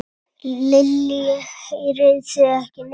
Lillý: Heyrið þið ekki neitt?